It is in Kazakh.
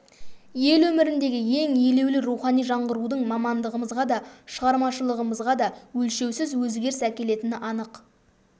ел өміріндегі ең елеулі рухани жаңғырудың мамандығымызға да шығармашылығымызға да өлшеусіз өзгеріс әкелетіні анық